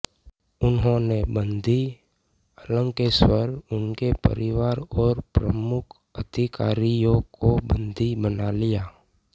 उन्होंने बंदी अलकेश्वर उनके परिवार और प्रमुख अधिकारियों को बंदी बना लिया